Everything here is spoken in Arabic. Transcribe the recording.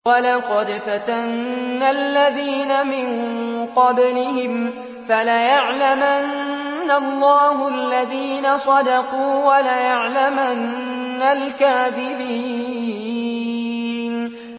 وَلَقَدْ فَتَنَّا الَّذِينَ مِن قَبْلِهِمْ ۖ فَلَيَعْلَمَنَّ اللَّهُ الَّذِينَ صَدَقُوا وَلَيَعْلَمَنَّ الْكَاذِبِينَ